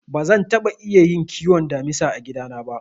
Bazan taɓa iya kiwon damisa a gida na ba.